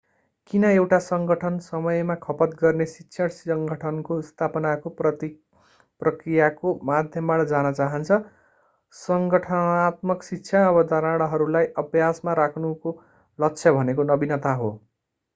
किन एउटा संगठन समय खपत गर्ने शिक्षण संगठनको स्थापनाको प्रक्रियाको माध्यमबाट जान चाहन्छ संगठनात्मक शिक्षा अवधारणाहरूलाई अभ्यासमा राख्नुको लक्ष्य भनेको नवीनता हो